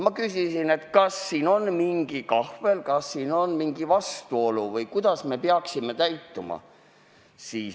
Ma küsisin, kas siin on mingi kahvel, kas siin on mingi vastuolu või kuidas me peaksime käituma.